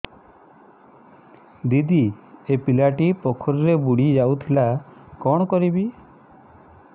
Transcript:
ଦିଦି ଏ ପିଲାଟି ପୋଖରୀରେ ବୁଡ଼ି ଯାଉଥିଲା କଣ କରିବି